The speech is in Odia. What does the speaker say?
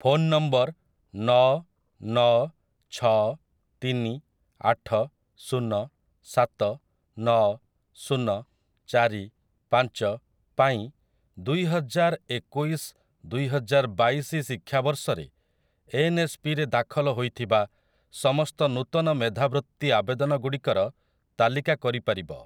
ଫୋନ ନମ୍ବର ନଅ ନଅ ଛଅ ତିନି ଆଠ ଶୂନ ସାତ ନଅ ଶୂନ ଚାରି ପାଞ୍ଚ ପାଇଁ ଦୁଇ ହଜାର ଏକୋଇଶ ଦୁଇ ହଜାର ବାଇଶି ଶିକ୍ଷାବର୍ଷରେ ଏନ୍ ଏସ୍ ପି ରେ ଦାଖଲ ହୋଇଥିବା ସମସ୍ତ ନୂତନ ମେଧାବୃତ୍ତି ଆବେଦନ ଗୁଡ଼ିକର ତାଲିକା କରି ପାରିବ?